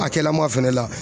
A kɛla maa fɛnɛ la